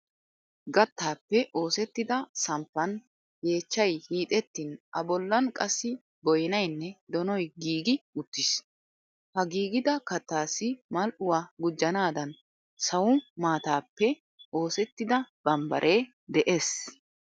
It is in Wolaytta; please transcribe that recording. Gattaappe oosettida samppan yeechchay hiixettin A bollan qassi boynaynne donoy giigi uttiis. Ha giigida kattaassi mal"uwa gujjanaadan sawu maataappe oosettida bambbaree de"es.